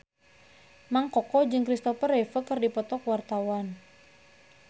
Mang Koko jeung Kristopher Reeve keur dipoto ku wartawan